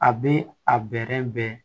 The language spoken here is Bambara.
A bɛ a bɛrɛ bɛn